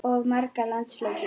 Of marga landsleiki?